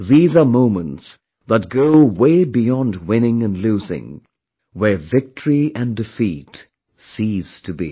These are moments that go way beyond winning and losing, where victory and defeat cease to be